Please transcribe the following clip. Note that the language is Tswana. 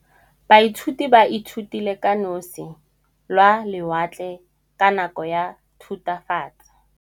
Baithuti ba ithutile ka losi lwa lewatle ka nako ya Thutafatshe.